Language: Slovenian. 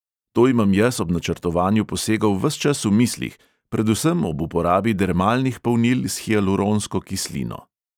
To imam jaz ob načrtovanju posegov ves čas v mislih, predvsem ob uporabi dermalnih polnil s hialuronsko kislino.